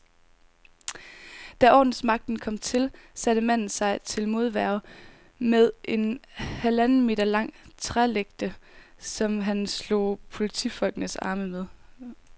Da ordensmagten kom til, satte manden sig til modværge med en halvanden meter lang trælægte, som han slog politifolkenes arme med.